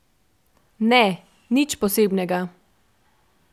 Ne, nič posebnega.